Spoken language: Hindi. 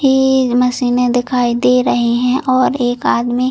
तीन मशीने दिखाई दे रही है और एक आदमी--